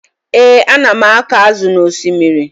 Ee, ana m akọ azụ n'osimiri